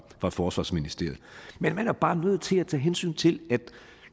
forsvarsministeriet men man er bare nødt til at tage hensyn til